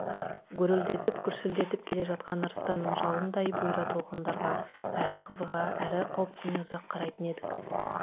гүрілдетіп гүрсілдеп келе жатқан арыстанның жалындай бұйра толқындарға әрі қызыға әрі қауіптене ұзақ қарайтын едік